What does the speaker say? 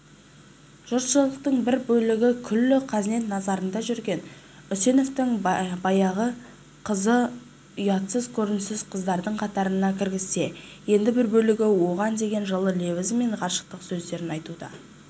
жұртшылықтың бір бөлігікүллі казнет назарында жүрген үсеновтің баяғы қызынұятсыз көргенсіз қыздардың қатарына кіргізсе енді бір бөлігі оған деген жылы лебізі мен ғашықтық сөздерін айтуда